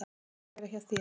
Ég vil bara vera hjá þér.